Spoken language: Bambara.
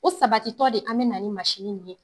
O sabatitɔ de an bɛ na ni mansinin ye.